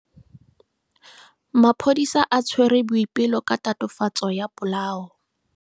Maphodisa a tshwere Boipelo ka tatofatso ya polao.